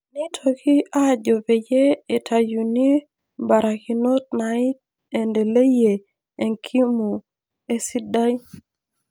Neitoki aajo peyie eitaayuni imbarakinot naiendeleyie enkimu esidai